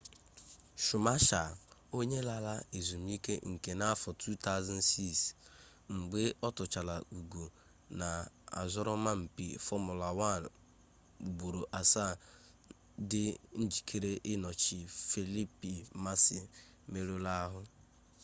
schumacher onye lara ezmuike-nka na afo 2006 mgbe otuchaara ugo na asoroma-mpi fomula 1 ugboro asaa di njikere inochi felipe massa meruru-ahu